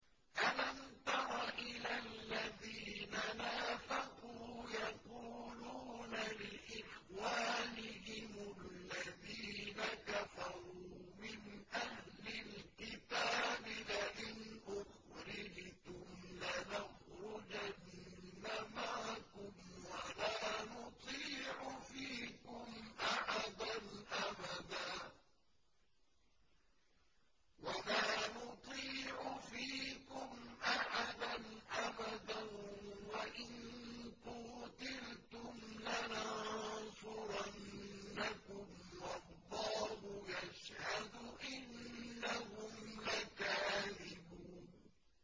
۞ أَلَمْ تَرَ إِلَى الَّذِينَ نَافَقُوا يَقُولُونَ لِإِخْوَانِهِمُ الَّذِينَ كَفَرُوا مِنْ أَهْلِ الْكِتَابِ لَئِنْ أُخْرِجْتُمْ لَنَخْرُجَنَّ مَعَكُمْ وَلَا نُطِيعُ فِيكُمْ أَحَدًا أَبَدًا وَإِن قُوتِلْتُمْ لَنَنصُرَنَّكُمْ وَاللَّهُ يَشْهَدُ إِنَّهُمْ لَكَاذِبُونَ